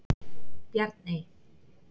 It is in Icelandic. Bjarney